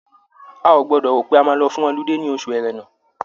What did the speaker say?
A ò gbọdọ̀ rò pé a máa lọ fún ọludé ní ọṣù Ẹ̀rẹnà.